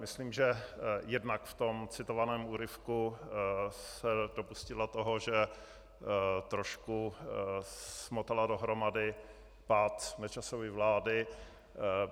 Myslím, že jednak v tom citovaném úryvku se dopustila toho, že trošku smotala dohromady pád Nečasovy vlády.